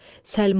Səlma.